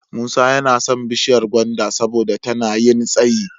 Musa yana son bishiyar gwanda saboda tana yin tsayi.